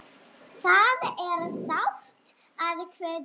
Það er sárt að kveðja.